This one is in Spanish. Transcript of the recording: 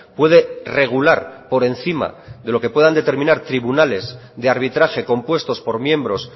puede regular por encima de lo que puedan determinar tribunales de arbitraje compuestos por miembros